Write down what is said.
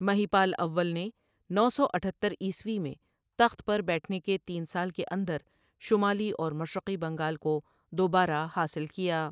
مہیپال اول نے نو سو اتھتر عیسوی میں تخت پر بیٹھنے کے تین سال کے اندر شمالی اور مشرقی بنگال کو دوبارہ حاصل کیا۔